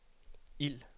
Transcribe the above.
ild